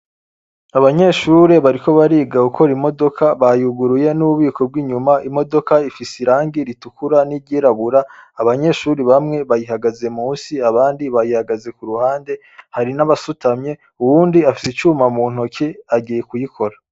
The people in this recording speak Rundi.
Abanyeshuri bariko bariga gukora imodoka bayuguruye n'ububiko bw'inyuma. Imodoka ifise irangi ritukura n'iryirabura. Abanyeshuri bamwe bayihagaze munsi abandi bayihagaze ku ruhande, hari n'abasutamye. Uwundi afise icuma mu ntoki agiye kuyikora.